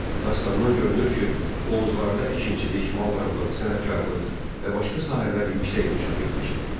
Dastandan görünür ki, Oğuzlarda əkinçilik, maldarlıq, sənətkarlıq və başqa sahələr yüksək inkişaf etmişdi.